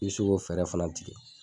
I bɛ se k'o fɛɛrɛ fana tigɛ.